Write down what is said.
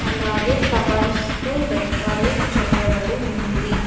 అలాగే ఫ్లవర్స్ తో డెకరేట్ చేయబడి ఉంది.